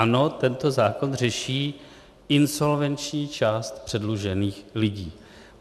Ano, tento zákon řeší insolvenční část předlužených lidí.